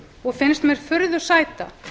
og finnst mér furðu sæta